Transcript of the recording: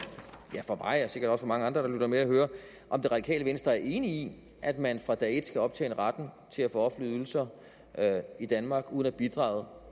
mig og sikkert også for mange andre der lytter med at høre om radikale venstre er enig i at man fra dag et skal optjene retten til at få offentlige ydelser i danmark uden at bidrage